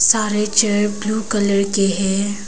सारे chair blue colour के हैं।